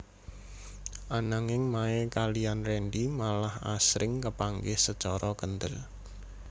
Ananging Mae kaliyan Rendy malah asring kapanggih sacara kéndel